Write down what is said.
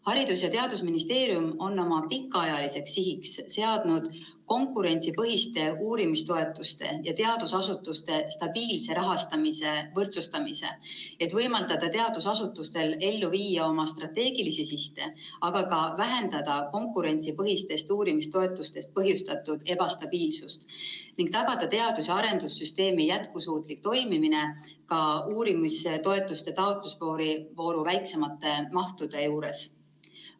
Haridus‑ ja Teadusministeerium on oma pikaajaliseks sihiks seadnud konkurentsipõhiste uurimistoetuste ja teadusasutuste stabiilse rahastamise võrdsustamise, et võimaldada teadusasutustel ellu viia oma strateegilisi sihte, aga ka vähendada konkurentsipõhistest uurimistoetustest põhjustatud ebastabiilsust ning tagada teadus‑ ja arendussüsteemi jätkusuutlik toimimine ka uurimistoetuste taotlusvooru väiksemate mahtude juures.